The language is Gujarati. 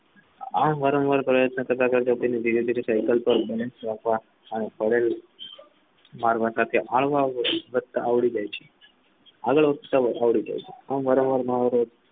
આ વારંવાર આવડી જાય છે આગડ વઠતા આવડી જાય છે